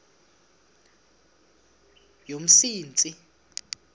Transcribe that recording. yomsintsi